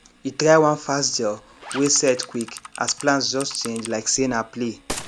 e try one fast gel wey set quick as plans just change like say na play